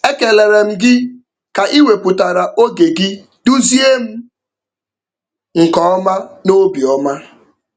Ekelere m gị ka ị wepụtara oge gị duzie m nke ọma n'obi ọma.